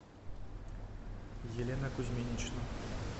елена кузьминична